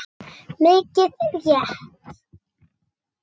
Mikið rétt!